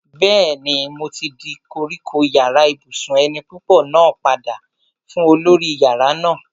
Bẹ́ẹ̀ni, mo ti dá kọ́kọ́rọ́ yàrá ibùsùn eni púpọ̀ náà padà fún olórí yàrá náà